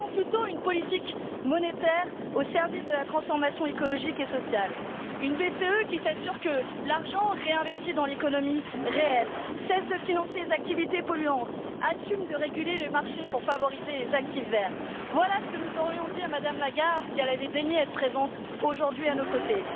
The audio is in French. Choisissons plutôt une politique monétaire au service de la transformation écologique et sociale, une BCE qui s'assure que l'argent réinvesti dans l'économie réelle cesse de financer les activités polluantes, assume de réguler le marché pour favoriser les actifs verts. Voilà ce que nous aurions dit à Mme Lagarde si elle avait daigné être présente aujourd'hui à nos côtés.